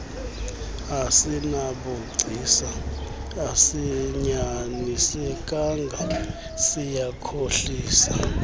asinabugcisa asinyanisekanga siyakhohlisa